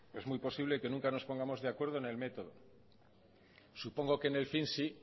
es muy posible que nunca nos pongamos de acuerdo en el método supongo que en el fin sí